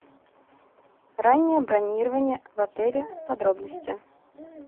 раннее бронирование в отеле подробности